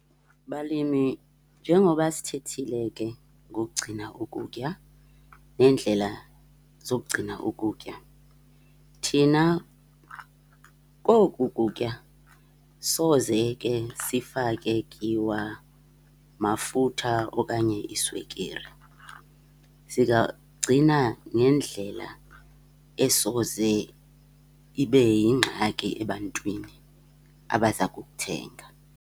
Balimi, njengoba sithethile ke ngokugcina ukutya neendlela zokugcina ukutya, thina koku kutya soze ke sifake tyiwa, mafutha okanye iswekire. Zingagcina ngendlela esoze ibe yingxaki ebantwini abaza kukuthenga.